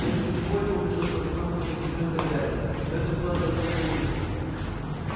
прежде всего ему пришлось познакомиться с семьёй хозяина но это было для него не в новинку